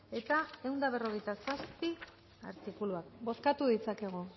eta ehun eta berrogeita zazpi artikuluak bozkatu ditzakegu